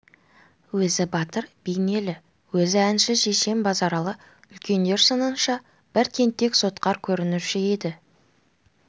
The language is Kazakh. өзі батыр бейнелі өзі әнші шешен базаралы үлкендер сынынша бір тентек сотқар көрінуші еді